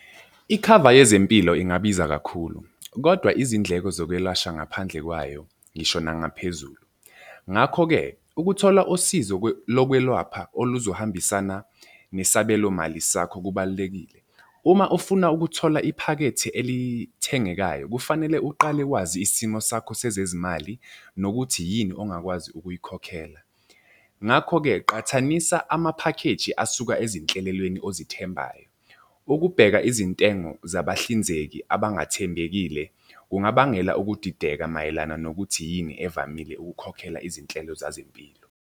Ikhava yezempilo ingabiza kakhulu, kodwa izindleko zokwelashwa ngaphandle kwayo ngisho nangaphezulu. Ngakho-ke, ukuthola usizo lokwelwapha oluzohambisana nesabelo mali sakho kubalulekile. Uma ufuna ukuthola iphakethe elithengekayo kufanele uqale wazi isimo sakho sezezimali nokuthi yini ongakwazi ukuyikhokhela. Ngakho-ke qhathanisa amaphakheji asuka ezinhlelelweni ozithembayo. Ukubheka izintengo zabahlinzeki abangathembekile kungabangela ukudideka mayelana nokuthi yini evamile ukukhokhela izinhlelo zezempilo.